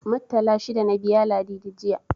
Muttala shida na biya Ladidi, jiya.